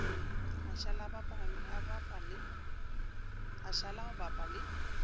a šala go bapa le